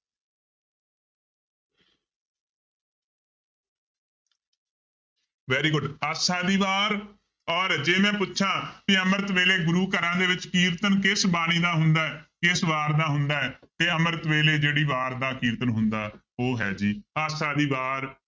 Very good Asa ਦੀ ਵਾਰ ਔਰ ਜੇ ਮੈਂ ਪੁੱਛਾਂ ਕਿ ਅੰਮ੍ਰਿਤ ਵੇਲੇ ਗੁਰੂ ਘਰਾਂ ਦੇ ਵਿੱਚ ਕੀਰਤਨ ਕਿਸ ਬਾਣੀ ਦਾ ਹੁੰਦਾ ਹੈ ਕਿਸ ਵਾਰ ਦਾ ਹੁੰਦਾ ਹੈ ਤੇ ਅੰਮ੍ਰਿਤ ਵੇਲੇ ਜਿਹੜੀ ਵਾਰ ਦਾ ਕੀਰਤਨ ਹੁੰਦਾ, ਉਹ ਹੈ ਜੀ ਆਸਾ ਦੀ ਵਾਰ।